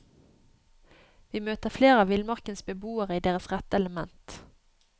Vi møter flere av villmarkens beboere i deres rette element.